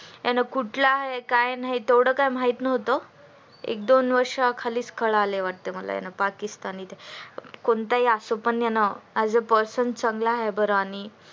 त्याने कुठल काय तेव्हड काय माहीत नव्हत एक दोन वर्षा खालीच कळले मला वाटतंय ते पाकिस्तानी ते कोणताही असो पण as a person चांगला आहे बर आणि